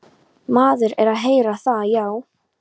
Maður er að heyra það, já.